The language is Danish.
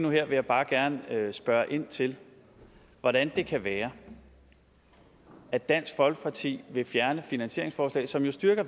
nu og her vil jeg bare gerne spørge ind til hvordan det kan være at dansk folkeparti vil fjerne finansieringsforslag som jo styrker